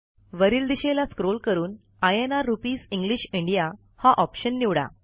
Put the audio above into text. वरील दिशेला स्क्रॉल करून इन्र रुपीस इंग्लिश इंडिया हा ऑप्शन निवडा